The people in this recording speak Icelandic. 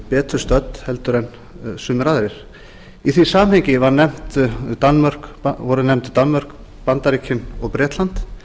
betur stödd heldur en sumir aðrir í því sambandi voru nefnd danmörk bandaríkin og bretland